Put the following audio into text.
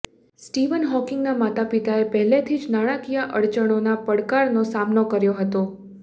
Steven હોકિંગના માતાપિતાએ પહેલેથી જ નાણાંકીય અડચણોના પડકારનો સામનો કર્યો હતો